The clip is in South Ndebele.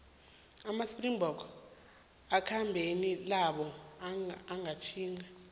amaspringboks asekhambeni labo langaphetjheya